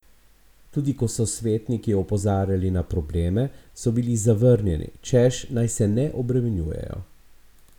Tudi ko so svetniki opozarjali na probleme, so bili zavrnjeni, češ, naj se ne obremenjujejo.